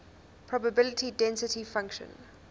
probability density function